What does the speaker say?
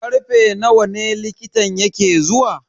Karfe nawa ne likitan yake zuwa?